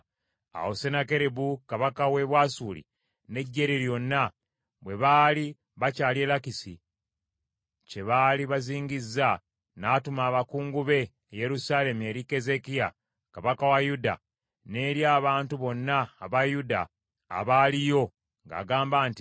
Awo Sennakeribu kabaka w’e Bwasuli n’eggye lye lyonna bwe baali bakyali e Lakisi kye baali bazingizza, n’atuma abakungu be e Yerusaalemi eri Keezeekiya kabaka wa Yuda, n’eri abantu bonna aba Yuda abaaliyo, ng’agamba nti,